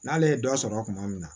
N'ale ye dɔ sɔrɔ kuma min na